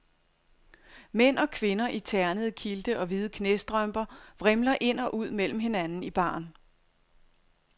Mænd og kvinder i ternede kilte og hvide knæstrømper vrimler ind og ud mellem hinanden i baren.